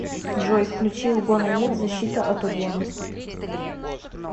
джой включи угона нет защита от угона